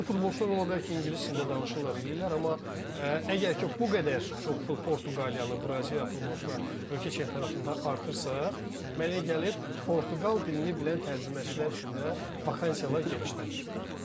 İndi bu futbolçular ola bilər ki, ingilis dilində danışırlar, eləyirlər, amma əgər ki, bu qədər çox Portuqaliyalı, Braziliyalı futbolçular ölkə çempionatında artırsa, mənə elə gəlir Portuqal dilini bilən tərcüməçilər üçün də vakansiyalar genişlənir.